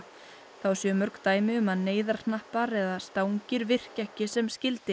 þá séu mörg dæmi um að neyðarhnappar eða stangir virki ekki sem skyldi